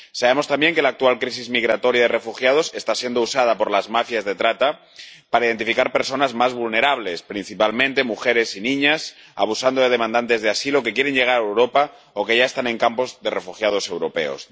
Sabemos también que la actual crisis migratoria y de refugiados está siendo usada por las mafias de trata para identificar a las personas más vulnerables, principalmente mujeres y niñas, abusando de solicitantes de asilo que quieren llegar a Europa o que ya están en campos de refugiados europeos.